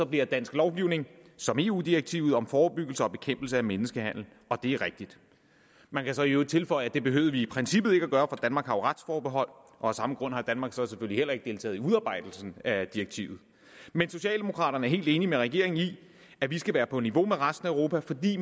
bliver dansk lovgivning som eu direktivet om forebyggelse og bekæmpelse af menneskehandel og det er rigtigt man kan så i øvrigt tilføje at det behøvede vi i princippet ikke at gøre jo retsforbehold og af samme grund har danmark så selvfølgelig heller ikke deltaget i udarbejdelsen af direktivet men socialdemokraterne er helt enige med regeringen i at vi skal være på niveau med resten af europa fordi